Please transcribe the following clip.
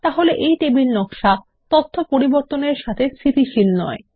তাহলে এই টেবিল নকশা তথ্য পরিবর্তন এর সাথে স্থিতিশীল নয়